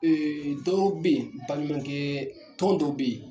Ee dɔw bɛ yen baɲumankɛ tɔn dɔw bɛ yen